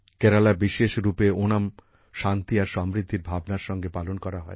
কেরালায় বিশেষ রুপে ওনাম শান্তি আর সমৃদ্ধির ভাবনার সঙ্গে পালন করা হয়